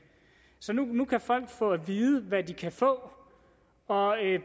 så nu kan folk få at vide hvad de kan få og